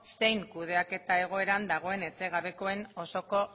zein kudeaketa egoeran dagoen etxegabekoen osoko